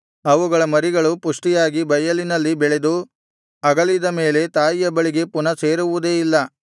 ಅವುಗಳ ಮರಿಗಳು ಪುಷ್ಟಿಯಾಗಿ ಬಯಲಿನಲ್ಲಿ ಬೆಳೆದು ಅಗಲಿದ ಮೇಲೆ ತಾಯಿಯ ಬಳಿಗೆ ಪುನಃ ಸೇರುವುದೇ ಇಲ್ಲ